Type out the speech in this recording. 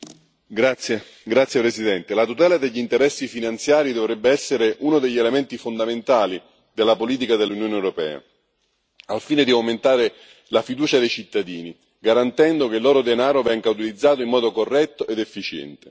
Signor Presidente, onorevoli colleghi, la tutela degli interessi finanziari dovrebbe essere uno degli elementi fondamentali della politica dell'Unione europea, al fine di aumentare la fiducia dei cittadini garantendo che il loro denaro venga utilizzato in modo corretto ed efficiente.